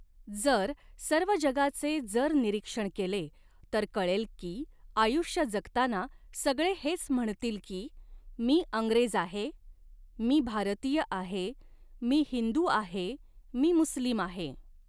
जर सर्व जगाचे जर निरीक्षण केले तर कऴेल कि आयुष्य जगताना सगळे हेच म्हणतील कि मी अंग्रेज आहे मी भारतीय आहे मी हिंदु आहे मी मुस्लिम आहे.